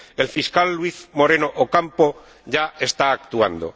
El Fiscal Luis Moreno Ocampo ya está actuando.